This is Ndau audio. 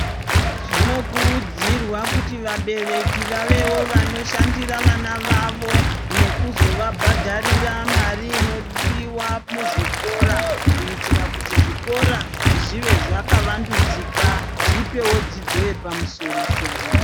Zvinokurudzirwa kuti vabereki vavewo vanoshandira vana vavo nekuzovabhadharira mari inodiwa muzvikora kuitira kuti zvikora zvive zvakavandudzika. Zvipewo dzidzo yepamusoro-soro.